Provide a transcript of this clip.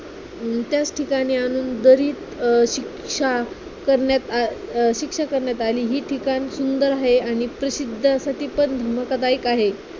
अं त्याच ठिकाणी आणून दरीत अं शिक्षा करण्यात आ अं शिक्षा करण्यात आली. हि ठिकाण सुंदर आहे आणि प्रसिद्धसाठी पण धोकादायक आहे.